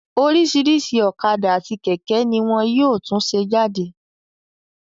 Oríṣìíríṣìí ọ̀kadà àti kẹ̀kẹ́ ní wọn yóò tún ṣe jáde.